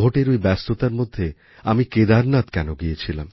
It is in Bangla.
ভোটের ঐ ব্যস্ততার মধ্যে আমি কেদারনাথ কেন গিয়েছিলাম